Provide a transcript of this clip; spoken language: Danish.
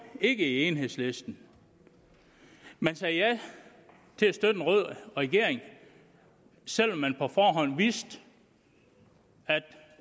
ikke i enhedslisten man sagde ja til at støtte en rød regering selv om man på forhånd vidste at